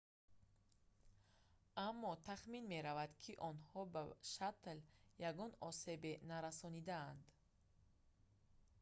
аммо тахмин меравад ки онҳо ба шаттл ягон осебе нарасонидаанд